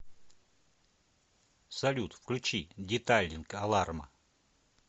салют включи детайлинг аларма